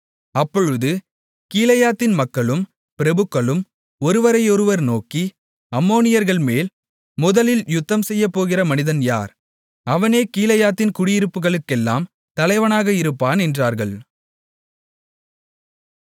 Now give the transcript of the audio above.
அப்பொழுது கீலேயாத்தின் மக்களும் பிரபுக்களும் ஒருவரையொருவர் நோக்கி அம்மோனியர்கள்மேல் முதலில் யுத்தம்செய்யப்போகிற மனிதன் யார் அவனே கீலேயாத்தின் குடியிருப்புகளுக்கெல்லாம் தலைவனாக இருப்பான் என்றார்கள்